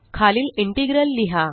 खालील इंटेग्रल लिहा